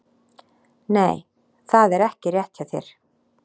Nei, það er ekki rétt hjá þér!